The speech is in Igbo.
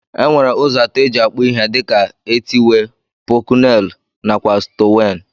Enwere ụzọ atọ eji akpụ ihe dika: etiwee, pọculenu nakwa stonwee.